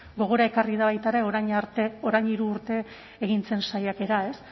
gogora ekarri da baita ere orain hiru urte egin zen saiakera ez